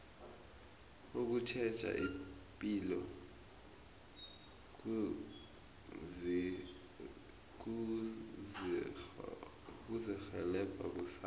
ukutjheja ipilo kuzirhelebha kusasa